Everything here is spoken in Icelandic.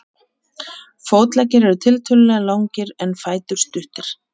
Fótleggir eru tiltölulega langir en fætur stuttir.